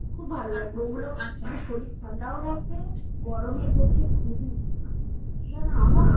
খুব ভালো লাগবে ঐগুলো মানে শরীর ঠান্ডাও থাকবে গরমের মধ্যে খুবই